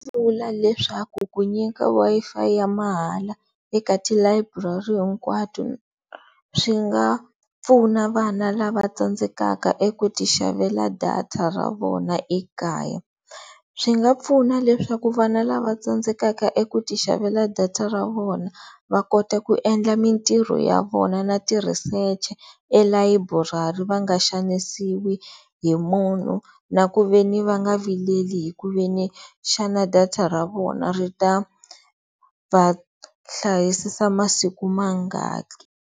Ndzi nga vula leswaku ku nyika Wi-Fi ya mahala eka tilayiburari hinkwato swi nga pfuna vana lava tsandzekaka eku ti xavela data ra vona ekaya. Swi nga pfuna leswaku vana lava tsandzekaka eku ti xavela data ra vona va kota ku endla mintirho ya vona na ti-research-e elayiburari va nga xanisiwi hi munhu na ku ve ni va nga vileli hi ku ve ni xana data ra vona ri ta va hlayisisa masiku mangaki.